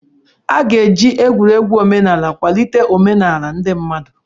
A ga-eji egwuregwu omenala kwalite omenala ndị mmadụ.